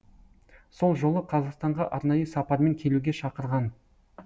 сол жолы қазақстанға арнайы сапармен келуге шақырған